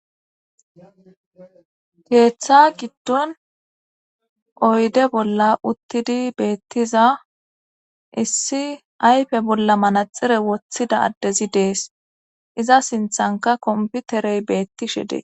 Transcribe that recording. keeththa giddon oyde bolla uttidi beettiza issi aype bolla manaxire woththida addezi dees iza sinthanka komputerey beettishe dees